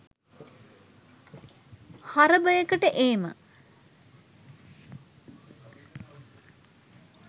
හරබයකට ඒම